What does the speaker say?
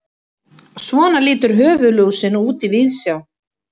Svona lítur höfuðlúsin út í víðsjá.